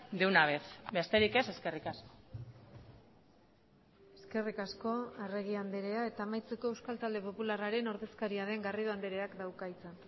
de una vez besterik ez eskerrik asko eskerrik asko arregi andrea eta amaitzeko euskal talde popularraren ordezkaria den garrido andreak dauka hitza